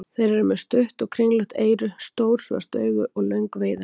Þeir eru með stutt og kringlótt eyru, stór svört augu og löng veiðihár.